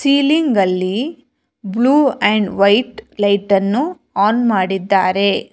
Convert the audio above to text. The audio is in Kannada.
ತೀಲಿಂಗಲ್ಲಿ ಬ್ಲೂ ಅಂಡ್ ವೈಟ್ ಲೈಟನ್ನು ಆನ್ ಮಾಡಿದ್ದಾರೆ.